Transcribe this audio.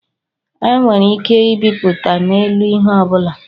A nwere ike ịbịpụta na-elu ihe ọbụla